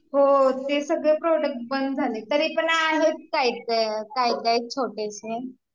हो ते सगळे प्रोडक्ट बंद झाली तरी पण आहेत काही, काही काही छोटेसे